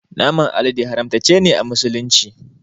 Naman alade haramtace ne a musulunci